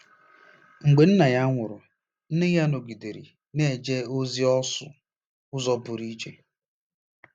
Mgbe nna ya nwụrụ ,nne ya nọgidere na-eje ozi ọsụ ụzọ pụrụ iche.